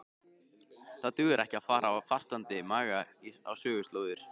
Það dugar ekki að fara á fastandi maga á söguslóðir.